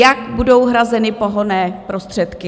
Jak budou hrazeny pohonné prostředky?